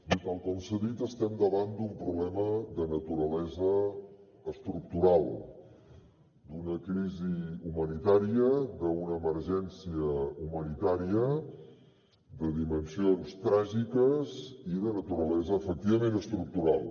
bé tal com s’ha dit estem davant d’un problema de naturalesa estructural d’una crisi humanitària d’una emergència humanitària de dimensions tràgiques i de naturalesa efectivament estructural